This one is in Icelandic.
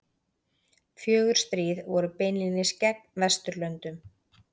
Fjögur stríð voru beinlínis gegn Vesturlöndum.